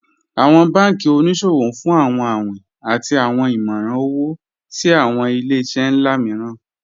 Awọn banki oníṣòwò n fún awọn awìn àti awọn ìmọ̀ran owo sí awọn ilẹ̀-iṣẹ̀ nlá mììràn